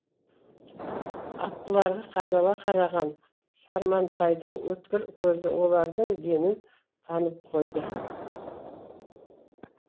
аттыларға қадала қараған сармантайдың өткір көзі олардың денін танып қойды